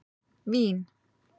Vín